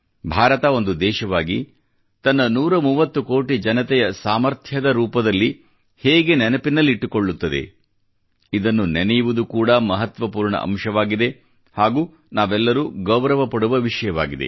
ಭಾರತ ಒಂದು ದೇಶವಾಗಿ ತನ್ನ 130 ಕೋಟಿ ಜನತೆಯ ಸಾಮರ್ಥ್ಯ ರೂಪದಲ್ಲಿ ಹೇಗೆ ನೆನಪಿನಲ್ಲಿಟ್ಟುಕೊಳ್ಳುತ್ತದೆ ಇದನ್ನು ನೆನೆಯುವುದು ಕೂಡಾ ಮಹತ್ವಪೂರ್ಣ ಅಂಶವಾಗಿದೆ ಹಾಗೂ ನಾವೆಲ್ಲರೂ ಗೌರವ ಪಡುವ ವಿಷಯವಾಗಿದೆ